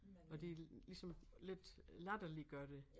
Og de ligesom lidt latterliggør det